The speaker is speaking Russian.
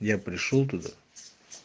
я пришёл туда